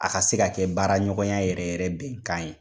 A ka se ka kɛ baara ɲɔgɔnya yɛrɛ yɛrɛ bɛnkan ye.